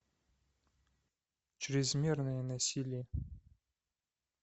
чрезмерное насилие